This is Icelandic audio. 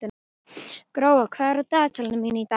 Gróa, hvað er á dagatalinu mínu í dag?